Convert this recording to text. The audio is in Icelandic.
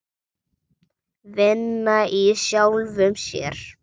Vinna í sjálfum sér.